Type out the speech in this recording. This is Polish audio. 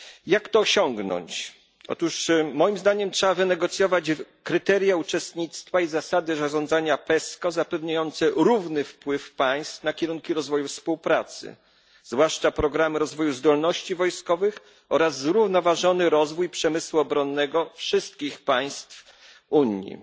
Jak to osiągnąć? Otóż moim zdaniem trzeba wynegocjować kryteria uczestnictwa i zasady zarządzania PESCO zapewniające równy wpływ państw na kierunki rozwoju współpracy, zwłaszcza programy rozwoju zdolności wojskowych oraz zrównoważony rozwój przemysłu obronnego wszystkich państw Unii.